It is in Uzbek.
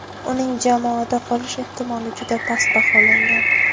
Uning jamoada qolish ehtimoli juda past baholangan.